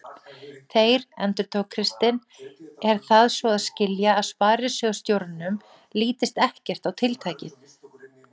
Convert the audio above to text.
Þeir, endurtók Kristinn, er það svo að skilja að sparisjóðsstjóranum lítist ekkert á tiltækið?